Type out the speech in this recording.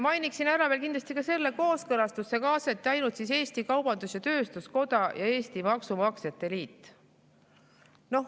Mainiksin ära veel kindlasti ka selle, et kooskõlastusse kaasati ainult Eesti Kaubandus-Tööstuskoda ja Eesti Maksumaksjate Liit.